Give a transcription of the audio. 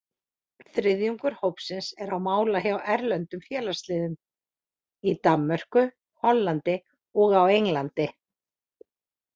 Þriðjungur hópsins er á mála hjá erlendum félagsliðum, í Danmörku, Hollandi og á Englandi.